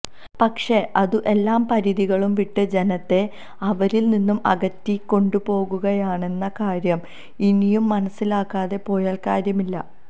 പക്ഷെ അതു എല്ലാ പരിധികളും വിട്ട് ജനത്തെ അവരില് നിന്നും അകറ്റിക്കൊണ്ടുപോകുകയാണെന്ന കാര്യം ഇനിയും മനസ്സിലാക്കാകെ പോയാല് കാര്യമില്ല